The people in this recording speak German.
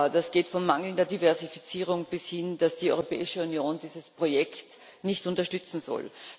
Das geht von mangelnder Diversifizierung bis dahin dass die Europäische Union dieses Projekt nicht unterstützen soll.